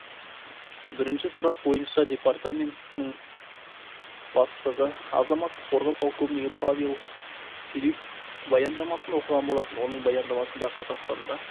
бірінші сұрақ бойынша департаментінің бастығы азаматтық қорғау полковнигі павел филиппов баяндамасын оқыған болатын оның баяндамасында қазақстанда